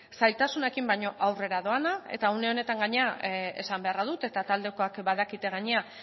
zailtasunekin baina aurrea doa eta une honetan gainera esan beharra dut eta taldekoek badakite gainera